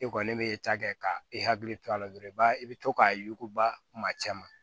E kɔni bɛ ta kɛ ka e hakili to a la dɔrɔn i b'a i bɛ to k'a yuguba kuma caman